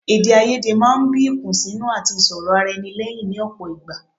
Èdèáiyedé máa ń bí ìkùnsínú àti ìsọrọ̀-ara-ẹni lẹ́yìn ní ọ̀pọ̀ ìgbà.